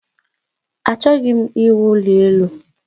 Achọghị m iwu ụlọ elu